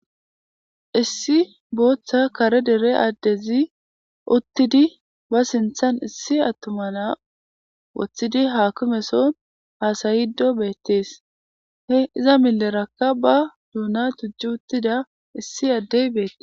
Issi booththa kare dere addezi uttidi ba sinthan issi attuma naa woththidi haakime so haasayido beettees .He iza millerakka ba doona tucci uttida issi addey beettes.